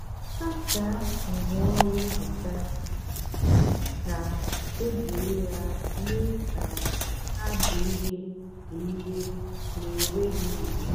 sácháá ngwaọrụ nhicha gị kà éjírí yá mée kà hà dị ìrè dị ìrè nà énwéghị nje.